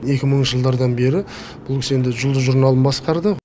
екі мыңыншы жылдардан бері бұл кісі енді бері жұлдыз журналын басқарды ғой